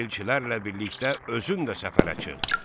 Elçilərlə birlikdə özün də səfərə çıx.